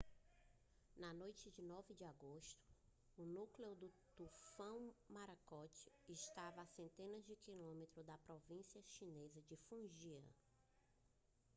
na noite de 9 de agosto o núcleo do tufão morakot estava a setenta quilômetros da província chinesa de fujian